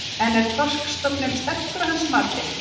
En er þorskstofninn sterkur að hans mati?